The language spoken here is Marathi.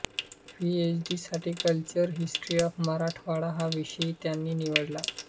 पीएच डी साठी कल्चरल हिस्ट्री ऑफ मराठवाडा हा विषय त्यांनी निवडला